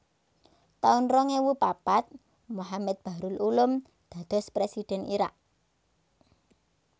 taun rong ewu papat Mohammed Bahrul Ulum dados Présidhèn Irak